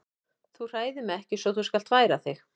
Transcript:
Þú hræðir mig ekki svo þú skalt færa þig.